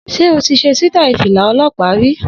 Sé o ti ṣe sítàì Fìlà-ọlọ́pàá rí?